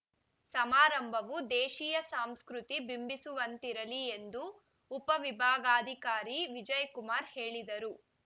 ಸಮಾರಂಭವು ದೇಶೀಯ ಸಂಸ್ಕೃತಿ ಬಿಂಬಿಸುವಂತಿರಲಿ ಎಂದು ಉಪವಿಭಾಗಾಧಿಕಾರಿ ವಿಜಯಕುಮಾರ್‌ ಹೇಳಿದರು